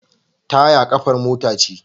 Taya kafar mota ce.